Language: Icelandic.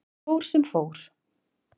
En það fór sem fór.